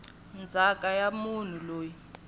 ndzhaka ya munhu loyi a